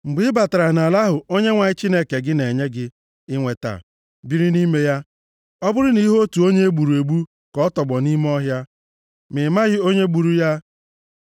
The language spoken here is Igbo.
Mgbe ị batara nʼala ahụ Onyenwe anyị Chineke gị na-enye gị inweta, biri nʼime ya, ọ bụrụ na ị hụ otu onye e gburu egbu ka ọ tọgbọ nʼime ọhịa, ma ị maghị onye gburu ya,